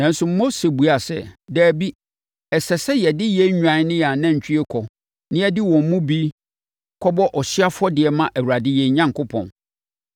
Nanso, Mose buaa sɛ, “Dabi, ɛsɛ sɛ yɛde yɛn nnwan ne yɛn anantwie kɔ na yɛde wɔn mu bi bɔ ɔhyeɛ afɔdeɛ ma Awurade yɛn Onyankopɔn.